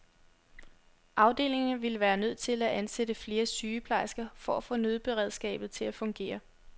Afdelingerne ville være nødt til at ansætte flere sygeplejersker for at få nødberedskabet til at fungere.